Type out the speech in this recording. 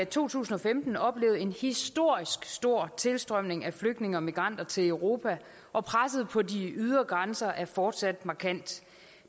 to tusind og femten oplevet en historisk stor tilstrømning af flygtninge og migranter til europa og presset på de ydre grænser er fortsat markant